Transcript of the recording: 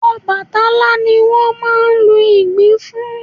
Ọbàtálá ni a máa ń lu Ìgbìn fún